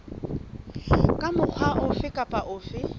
ka mokgwa ofe kapa ofe